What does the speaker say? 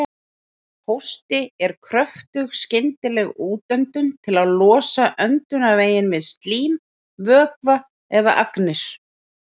Hósti er kröftug skyndileg útöndun til að losa öndunarveginn við slím, vökva eða agnir.